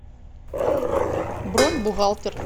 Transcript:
бронь бухгалтер